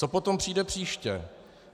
Co potom přijde příště?